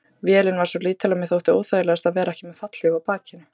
Vélin var svo lítil að mér þótti óþægilegast að vera ekki með fallhlíf á bakinu.